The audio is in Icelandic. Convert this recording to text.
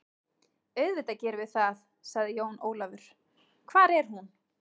Auðvitað gerum við það, sagði Jón Ólafur, hvar er hún?